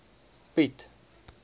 piet